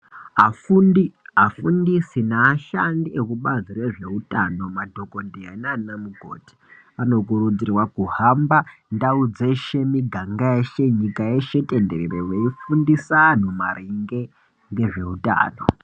Afuntisi neashandi ekubazi rezveutano, madhokhodheyaa naa mukoti anokurudzirwaa kuhamba ndau dzeshe mumiganga yeshe, nyika yeshe tenderere yeifundisa antuu maringe ngezveutano.